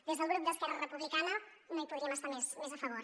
des del grup d’esquerra republicana no hi podríem estar més a favor